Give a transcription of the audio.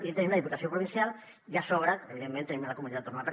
i tenim la diputació provincial i a sobre evidentment tenim la comunitat autònoma